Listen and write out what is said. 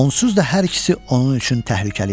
Onsuz da hər ikisi onun üçün təhlükəli idi.